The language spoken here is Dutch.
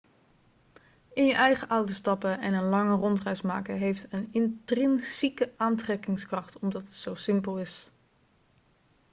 in je eigen auto stappen en een lange rondreis maken heeft een intrinsieke aantrekkingskracht omdat het zo simpel is